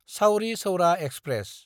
Chauri Chaura express